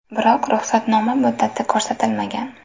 Biroq ruxsatnoma muddati ko‘rsatilmagan.